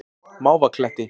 Mávakletti